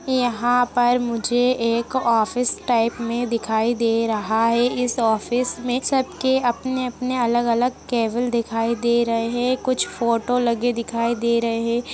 यहाँ पर मुझे एक ऑफिस टाइप में दिखाई दे रहा है इस ऑफिस में सबके अपने-अपने अलग-अलग केबिन दिखाई दे रहे है कुछ फोटो लगे दिखाई दे रहे ।